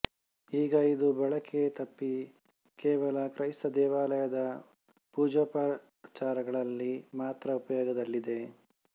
ಈಗ ಇದು ಬಳಕೆ ತಪ್ಪಿ ಕೇವಲ ಕ್ರೈಸ್ತ ದೇವಾಲಯದ ಪೂಜೋಪಚಾರಗಳಲ್ಲಿ ಮಾತ್ರ ಉಪಯೋಗದಲ್ಲಿದೆ